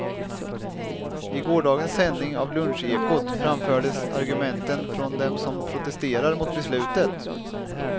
I gårdagens sändning av lunchekot framfördes argumenten från dem som protesterar mot beslutet.